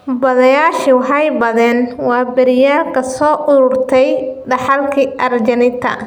Baadhayaashii waxay baadheen waaberiyaal ka soo uruurtay dhaxalkii Argentina.